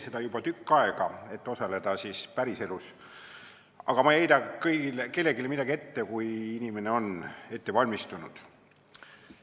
Ma juba tükk aega ei valmista kõnesid ette, et osaleda päriselus, aga ma ei heida kellelegi ette, kui ta on ette valmistanud.